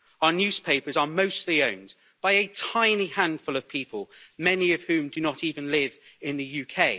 Our newspapers are mostly owned by a tiny handful of people, many of whom do not even live in the UK.